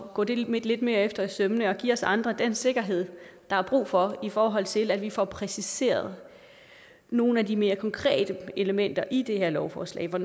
gå det lidt mere efter i sømmene og give os andre den sikkerhed der er brug for i forhold til at vi får præciseret nogle af de mere konkrete elementer i det her lovforslag for